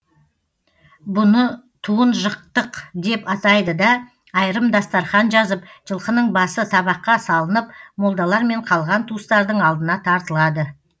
бұны туын жықтық деп атайды да айрым дастарқан жазып жылқының басы табаққа салынып молдалармен қалған туыстардың алдына тартылады